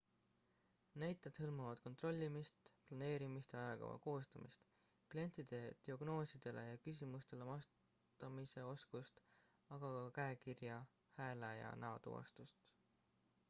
näited hõlmavad kontrollimist planeerimist ja ajakava koostamist klientide diagnoosidele ja küsimustele vastamise oskust aga ka käekirja hääle ja näotuvastust